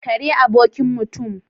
Kare abokin mutum.